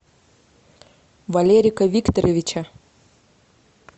валерика викторовича